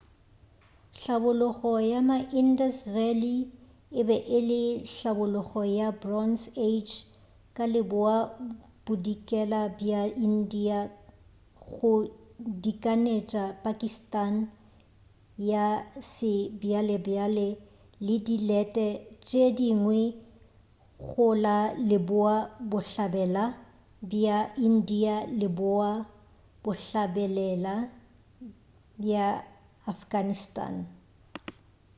hlabologo ya ma-indus valley e be e le hlabologo ya bronze age ka leboa-bodikela bja india go dikanetša pakistan ya sebjalebjale le dilete tše dingwe go la leboa-bohlabela bja india le leboa-bohlabela bja afghanistan